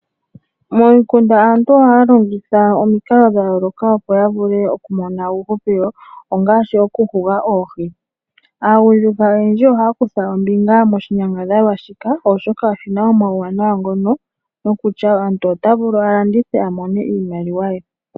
Momukunda aantu ohaya longitha omikalo dha yoolokathana okumo na uuhupilo ngaashi okuhuga oohi. Aagundjuka oyendji ohaya kutha ombinga moshinyangadhalwa shika, oshoka oshina uuwanawa wokumona iimaliwa uuna ya landitha.